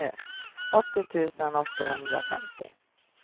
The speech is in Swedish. åttio tusen åttahundrafemtio